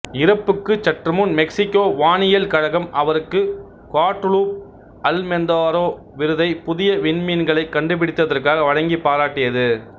இறப்புக்குச் சற்றுமுன் மெக்சிகோ வானியல் கழகம் அவருக்கு குவாடலூப் அல்மெந்தாரோ விருதை புதிய விண்மீன்களைக் கண்டுபிடித்ததற்காக வழங்கிப் பாராட்டியது